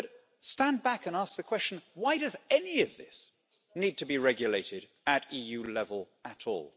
But stand back and ask the question why does any of this need to be regulated at EU level at all?